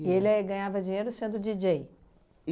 E ele ganhava dinheiro sendo díi djêi?